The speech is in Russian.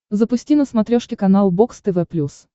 запусти на смотрешке канал бокс тв плюс